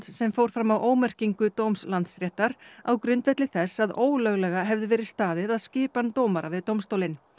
sem fór fram á ómerkingu dóms Landsréttar á grundvelli þess að ólöglega hefði verið staðið að skipan dómara við dómstólinn